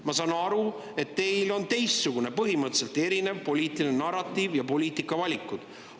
Ma saan aru, et teil on teistsugune, põhimõtteliselt erinev poliitiline narratiiv ja teistsugused poliitikavalikud.